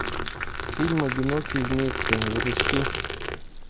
фильм одинокие вместе запусти